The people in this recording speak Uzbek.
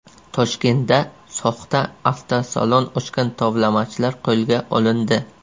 Toshkentda soxta avtosalon ochgan tovlamachilar qo‘lga olindi.